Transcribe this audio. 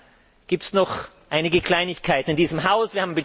Dann gibt es auch noch einige Kleinigkeiten in diesem Haus.